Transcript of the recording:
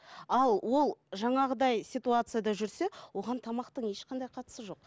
ал ол жаңағыдай ситуацияда жүрсе оған тамақтың ешқандай қатысы жоқ